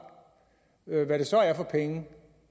hvad det så er for penge